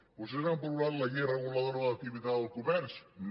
vostès han aprovat la llei reguladora de l’activitat del comerç no